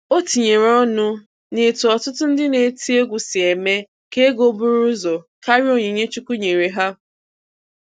O tinyere ọnụ na-etu ọtụtụ ndị na-eti egwu si eme ka ego buru ụzọ karịa onyinye Chukwu nyere ha.